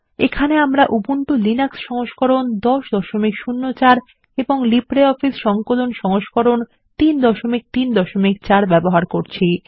এখানে আমরা উবুন্টুর লিনাক্স সংস্করণ 1004 এবং লিব্রিঅফিস সংকলন সংস্করণ 334 ব্যবহার করছি